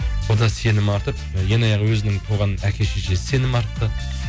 ол да сенім артып ең аяғы өзінің туған әке шешесі сенім артты